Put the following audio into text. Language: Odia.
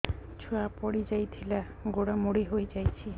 ଛୁଆ ପଡିଯାଇଥିଲା ଗୋଡ ମୋଡ଼ି ହୋଇଯାଇଛି